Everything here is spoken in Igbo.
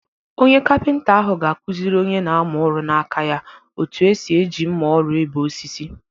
Onye kapịnta ahụ ga-akụziri onye na-amụ ọrụ n'aka ya otú esi eji mma ọrụ ebee osisi.